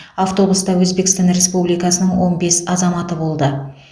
автобуста өзбекстан республикасының он бес азаматы болды